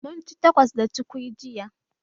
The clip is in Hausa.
Munci takos da cukwi jiya